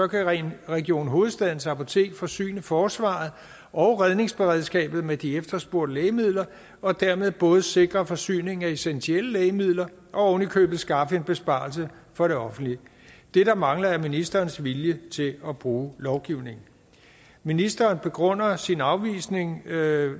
kan region region hovedstadens apotek forsyne forsvaret og redningsberedskabet med de efterspurgte lægemidler og dermed både sikre forsyning af essentielle lægemidler og oven i købet skaffe en besparelse for det offentlige det der mangler er ministerens vilje til at bruge lovgivningen ministeren begrunder sin afvisning af